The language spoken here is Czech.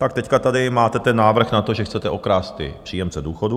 Tak teď tady máte ten návrh na to, že chcete okrást příjemce důchodů.